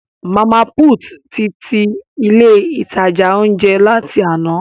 Mama put tí ilé ìtajà ounjẹ láti àna